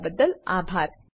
જોડાવાબદ્દલ આભાર